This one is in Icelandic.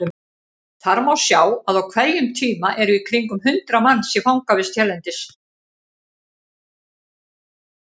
Þar má sjá að á hverjum tíma eru í kringum hundrað manns í fangavist hérlendis.